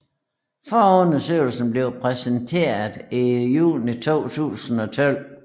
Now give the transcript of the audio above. Forundersøgelsen blev præsenteret i juni 2012